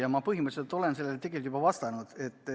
Ma olen põhimõtteliselt sellele juba vastanud.